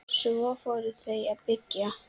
Svo fóru þau að byggja.